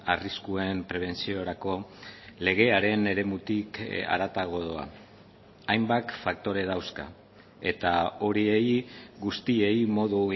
arriskuen prebentziorako legearen eremutik haratago doa hainbat faktore dauzka eta horiei guztiei modu